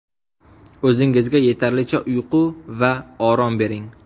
O‘zingizga yetarlicha uyqu va orom bering.